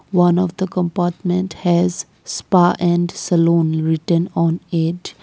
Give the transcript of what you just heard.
one of the compartment has spa and saloon written on it.